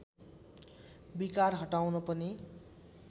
विकार हटाउन पनि